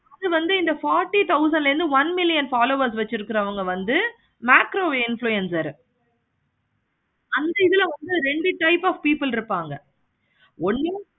அது வந்து இந்த forty thousand ல இருந்து one million followers வச்சிருக்காங்க வந்து macro influencer அந்த இதுல வந்து ரெண்ட் type of people இருப்பாங்க. ஒன்னு